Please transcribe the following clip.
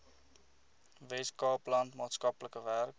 weskaapland maatskaplike werk